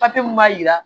Papiye mun b'a jira